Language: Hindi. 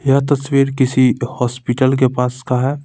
यह तस्वीर किसी हॉस्पिटल के पास का है.